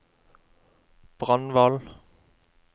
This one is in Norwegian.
Brandval